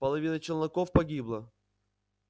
половина челноков погибла